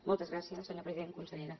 moltes gràcies senyor president consellera